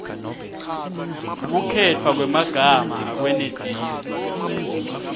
kukhetfwa kwemagama akwenetisi